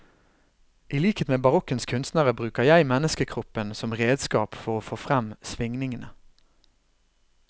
I likhet med barokkens kunstnere bruker jeg menneskekroppen som redskap for å få frem svingningene.